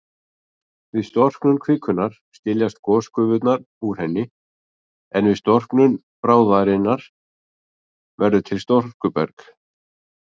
Við storknun kvikunnar skiljast gosgufurnar úr henni, en við storknun bráðarinnar verður til storkuberg.